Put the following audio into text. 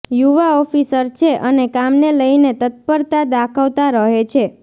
યુવા ઓફિસર છે અને કામને લઈને તત્પરતા દાખવતા રહે છે